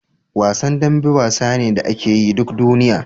Wasan dambe wasa ne da akeyi duk duniya